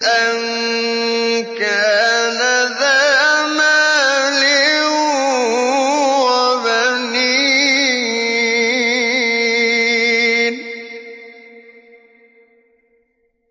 أَن كَانَ ذَا مَالٍ وَبَنِينَ